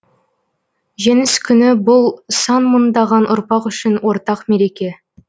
жеңіс күні бұл сан мыңдаған ұрпақ үшін ортақ мереке